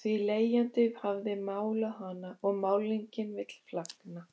því leigjandi hafði málað hana og málningin vill flagna.